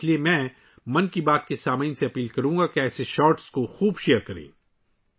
اس لیے میں 'من کی بات' کے سننے والوں سے گزارش کروں گا کہ اس طرح کے شارٹس کو بڑے پیمانے پر شیئر کریں